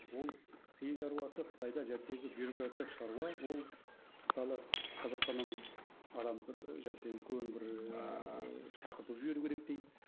ол қиын шаруасы қытайда бюрократтық шаруа ол мысалы қазақстаннан адам бір үлкен бір ііі шақырту жіберу керек дейді